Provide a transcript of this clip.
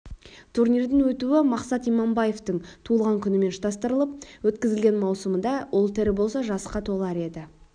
турнирдің өтуі мақсұт иманбаевтың туылған күнімен ұштастырылып өткізілген маусымыда ол тірі болса жасқа толар еді